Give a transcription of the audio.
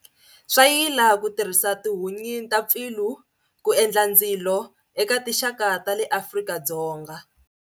Swayila ku tirhisa tihunyi ta Pfilu ku endla ndzilo, eka tinxaka ta le Afrika-Dzonga.